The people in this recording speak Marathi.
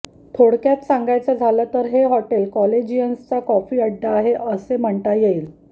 थोडक्यात सांगायचं झालं तर हे हॉटेल कॉलेजियन्सचा कॉफी अड्डा आहे असे म्हणता येईल